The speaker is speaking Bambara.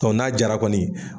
n'a jara kɔni